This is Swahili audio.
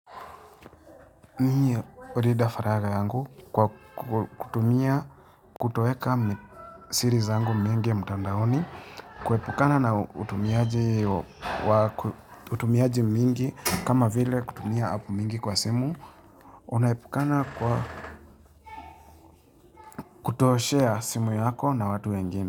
Mie ulida faraga yangu kwa kutumia kutoeka siri zangu mingi mtandaoni kuepukana na utumiaji mingi kama vile kutumia apu mingi kwa simu Unaepukana kwa kutoshare simu yako na watu wengine.